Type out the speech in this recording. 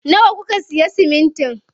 Nawa kuka siya siminti?